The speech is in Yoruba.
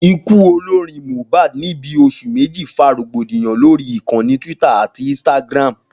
Ikú olorin Mohbad ní bí os̩ù méjì fa rògbòdìyàn lórí ìkanni twitter ati instagram